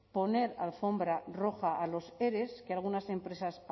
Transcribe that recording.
poner alfombra roja a los ere que algunas empresas